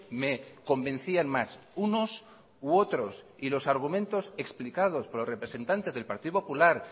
me convencían más unos u otros y los argumentos explicados por los representantes del partido popular